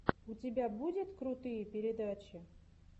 у тебя будет крутые передачи